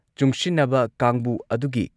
ꯆꯨꯡꯁꯤꯟꯅꯕ ꯀꯥꯡꯕꯨ ꯑꯗꯨꯒꯤ